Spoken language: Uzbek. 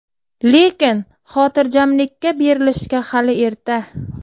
Lekin xotirjamlikka berilishga hali erta.